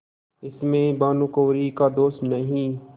इसमें भानुकुँवरि का दोष नहीं